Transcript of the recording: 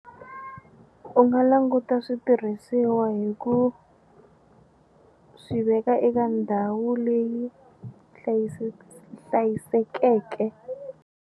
U nga languta switirhisiwa hi ku swi veka eka ndhawu leyi hlayisekeke.